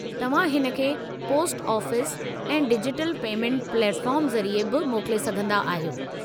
तव्हां हिन खे पोस्ट ऑफ़िस ऐं डिजिटल पेमेंट प्लेटफॉर्म ज़रिए बि मोकले सघंदा आहियो।